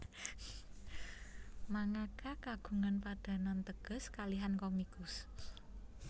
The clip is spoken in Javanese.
Mangaka kagungan padanan teges kalihan komikus